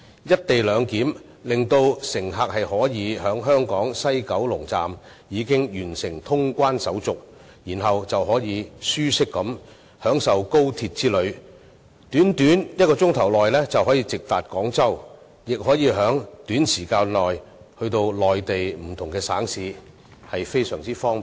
"一地兩檢"讓乘客可以在香港西九龍總站完成通關手續，然後便可舒適地享受高鐵之旅，短短1小時便可直達廣州，亦可在短時間內到達內地不同省市，非常方便。